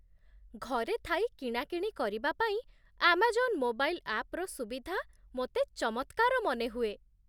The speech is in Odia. ଘରେ ଥାଇ କିଣାକିଣି କରିବାପାଇଁ, ଆମାଜନ ମୋବାଇଲ ଆପ୍‌ର ସୁବିଧା ମୋତେ ଚମତ୍କାର ମନେହୁଏ।